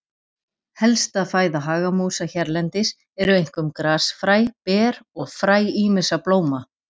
Helsta fæða hagamúsa hérlendis eru einkum grasfræ, ber og fræ ýmissa blóma.